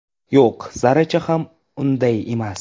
Yo‘q, zarracha ham unday emas.